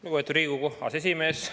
Lugupeetud Riigikogu aseesimees!